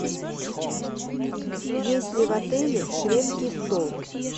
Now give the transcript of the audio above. есть ли в отеле шведский стол